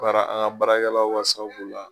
Baara an ka baarakɛlaw ka sababu b'u la